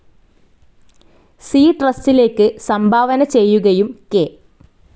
C ട്രസ്റ്റിലേക്ക് സംഭാവന ചെയ്യുകയും കെ.